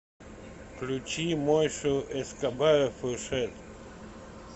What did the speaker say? включи мойшу эскобара фуршет